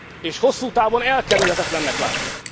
és hosszú távon elkerülhetetlennek látja.